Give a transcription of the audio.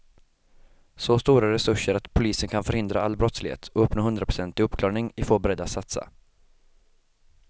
Så stora resurser att polisen kan förhindra all brottslighet och uppnå hundraprocentig uppklarning är få beredda att satsa.